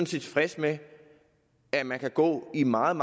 set tilfredse med at man kan gå i mange